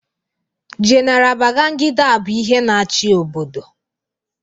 Jenara Bagangida bụ ihe na-achị obodo.